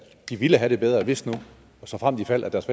de ville have det bedre hvis såfremt ifald at deres